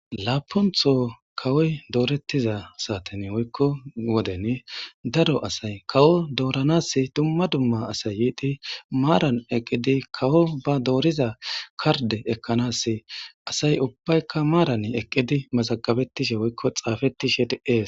laapontho kawoy doorettiza saaten woykko woden daro asay kawo dooranas dumma dumma asay yiidi maaran eqqidi kawo ba dooriza karde ekkanas asay ubbaykka maaran eqqidi maxagabettishe woykko xaafetishe di es